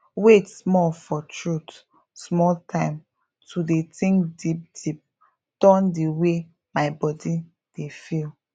wait small for truth small time to dey think deep deep turn di wey my body dey feel